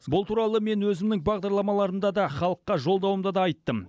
бұл туралы мен өзімнің бағдарламаларымда да халыққа жолдауымда да айттым